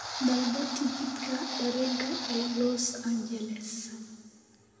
Dalbo tigidhka tareenka ee Los Angeles